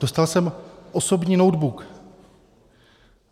Dostal jsem osobní notebook.